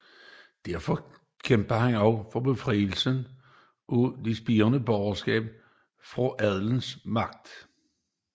Derfor kæmpede han også for befrielsen af det spirende borgerskab fra adelens magt